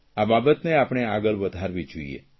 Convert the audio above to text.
આ બાબતને આપણે આગળ વધારવી જોઇએ